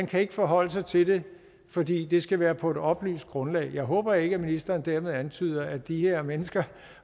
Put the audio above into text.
kan forholde sig til det fordi det skal være på et oplyst grundlag jeg håber ikke at ministeren dermed antyder at de her mennesker